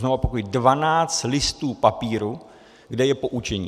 Znovu opakuji - 12 listů papíru, kde je poučení.